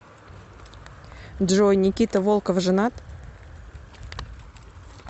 джой никита волков женат